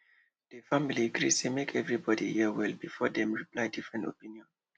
di family gree say make everybody hear well before dem reply different opinion